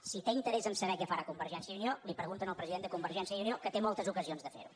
si té interès a saber què farà conver gència i unió li ho pregunta al president de con vergència i unió que té moltes ocasions de fer ho